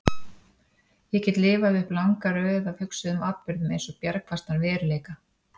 Ég get lifað upp langa röð af hugsuðum atburðum eins og bjargfastan veruleika.